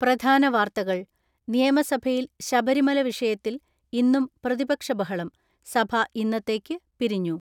പ്രധാന വാർത്തകൾ നിയമസഭയിൽ ശബരിമല വിഷയത്തിൽ ഇന്നും പ്രതിപക്ഷ ബഹളം, സഭ ഇന്നത്തേക്ക് പിരിഞ്ഞു.